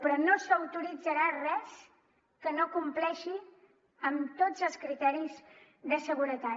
però no s’autoritzarà res que no compleixi amb tots els criteris de seguretat